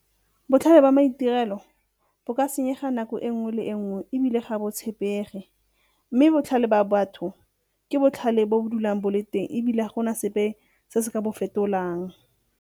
Botlhale ba maitirelo bo ka senyega nako e nngwe le e nngwe ebile ga botshepege, mme botlhale ba batho ke botlhale bo dulang bo le teng ebile ga gona sepe se se ka bo fetolang.